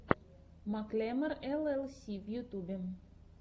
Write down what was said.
маклемор эл эл си в ютубе